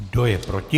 Kdo je proti?